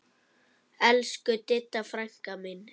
Elsku Didda frænka mín.